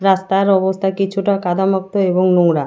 রাস্তার অবস্থা কিছুটা কাদামুক্ত এবং নোংরা।